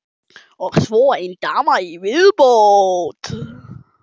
Og svo ein dama í viðbót.